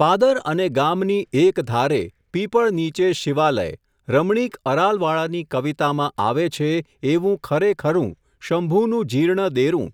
પાદર અને ગામની એક ધારે, પીપળ નીચે શિવાલય, રમણીક અરાલવાળાની કવિતામાં આવે છે, એવું ખરેખરું, શંભુનું જીર્ણ દેરું,